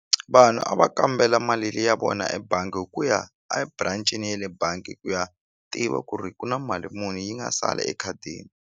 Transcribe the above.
Vanhu a va kambela mali le ya vona ebangi hi ku ya a branch-ini ye le bangi ku ya tiva ku ri ku na mali muni yi nga sala ekhadini.